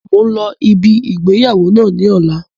Mo ń lọ sí ibi ìgbéyàwó náà ni ọ̀la